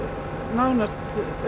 nánast